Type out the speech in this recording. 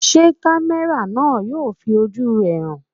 Ṣé kámẹ́rà náà yóò fi ojú rẹ̀ hàn?